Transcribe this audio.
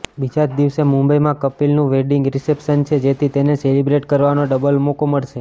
બીજા જ દિવસે મુંબઈમાં કપિલનું વેડિંગ રિસેપ્શન છે જેથી તેને સેલિબ્રેટ કરવાનો ડબલ મોકો મળશે